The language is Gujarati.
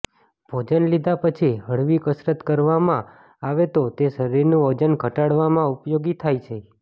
ભોજન લીધા પછી હળવી કસરત કરવામાં આવે તો તે શરીરનું વજન ઘટાડવામાં ઉપયોગી થાય છે